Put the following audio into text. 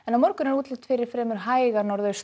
á morgun er útlit fyrir fremur hæga